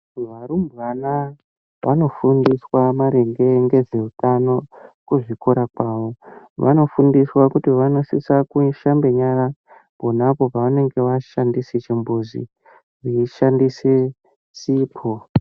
Varumbwana vanofundiswa maringe ngezveutano kuzvikora kwavo. Vanofundiswa kuti vanosisa kushambe nyara pona apo pavanenge vashandise chimbuzi veishandise sipo.